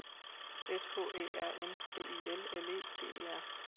S K Æ R M B I L L E D E R